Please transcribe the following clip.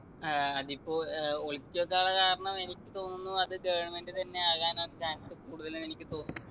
ആഹ് അതിപ്പോ ഏർ ഒളിപ്പിച്ചു വെക്കാനുള്ള കാരണം എനിക്ക് തോന്നുന്നു അത് government തന്നെ ആകാനാന്ന് chance കൂടുതല്ന്ന് എനിക്ക് തോന്നുന്ന്